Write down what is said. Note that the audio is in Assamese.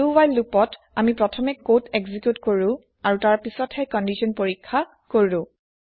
দো হোৱাইল লোপত আমি প্ৰথমে কদ এক্জি্ক্যুত কৰো আৰু তাৰপিছ্তহে কন্দিচ্যন পৰীক্ষা কৰো